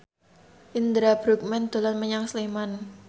Indra Bruggman dolan menyang Sleman